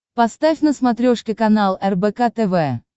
поставь на смотрешке канал рбк тв